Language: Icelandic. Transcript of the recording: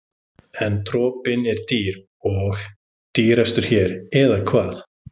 En dropinn er dýr og dýrastur hér, eða hvað?